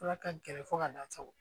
Ala ka gɛrɛ fo ka n'a sago